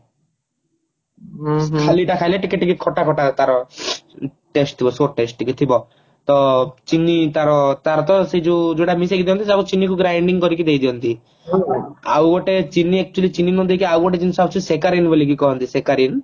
ଖାଲି ଟା ଖାଇଲେ ଖଟା ଖଟା ତାର test ଥିବ test ଟିକେ ଥିବ ତ ଚିନି ତାର ତାର ତ ସେ ଯୋଉ ଯୋଉଟାମିଶେଇକି ଦିଅନ୍ତି ସେଟା ଚିନିକୁ grinding କରିକି ଦେଇଦିଅନ୍ତି ଆଉ ଚିନି actually ଚିନି ନ ଦେଇକି ଆଉ ଗୋଟେ ଜିନିଷ ଅଛି ସେକାରିନ ବୋଲିକି କହନ୍ତି ସେକାରିନ